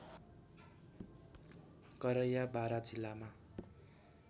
करैया बारा जिल्लामा